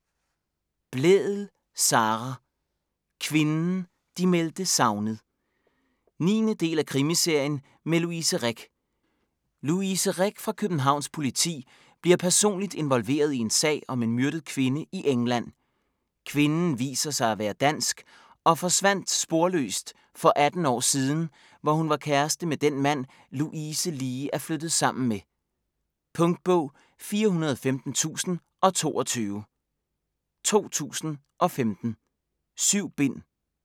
Blædel, Sara: Kvinden de meldte savnet 9. del af krimiserien med Louise Rick. Louise Rick fra Københavns Politi bliver personligt involveret i en sag om en myrdet kvinde i England. Kvinden viser sig at være dansk og forsvandt sporløst for 18 år siden, hvor hun var kæreste med den mand, Louise lige er flyttet sammen med. Punktbog 415022 2015. 7 bind.